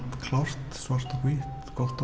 klárt svart og hvítt gott og